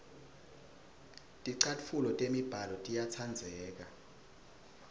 ticatfuco temibala tiyatsandzeka